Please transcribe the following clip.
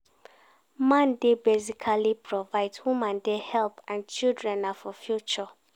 Man dey basically provide woman dey help and children na for future